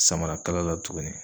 Samarakala la tuguni